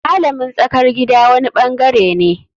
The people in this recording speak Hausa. Malamin tsakar gida wani bangare ne.